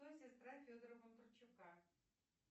кто сестра федора бондарчука